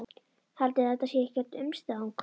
Haldiði að þetta sé ekkert umstang?